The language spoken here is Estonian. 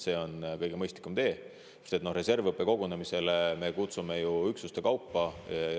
See on kõige mõistlikum tee, sest reservõppekogunemisele me kutsume üksuste kaupa.